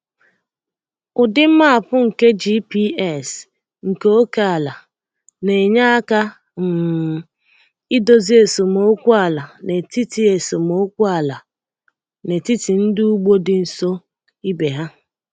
Ụdị map nke GPS nke ókè ala na-enye aka um idozi esemokwu ala n’etiti esemokwu ala n’etiti ndị ugbo dị nso ibe ha.